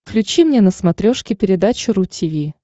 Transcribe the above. включи мне на смотрешке передачу ру ти ви